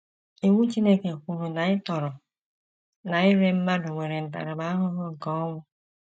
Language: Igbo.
Iwu Chineke kwuru na ịtọrọ na ire mmadụ nwere ntaramahụhụ nke ọnwụ.